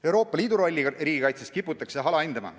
Euroopa Liidu rolli riigikaitses kiputakse alahindama.